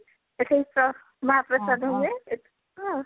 ଏ ସବୁ ମ ମହାପ୍ରସାଦ ହୁଏ ଏ ସବୁ ଆଉ